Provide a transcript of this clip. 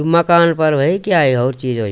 मकान फर भई क्या यो होर चीज यो।